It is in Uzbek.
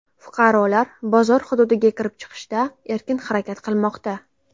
Fuqarolar bozor hududiga kirib-chiqishda erkin harakat qilmoqda.